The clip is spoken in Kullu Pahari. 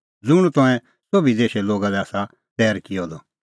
ज़ुंण तंऐं सोभी देशे लोगा लै आसा तैर किअ द कि